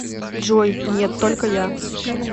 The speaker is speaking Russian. джой нет только я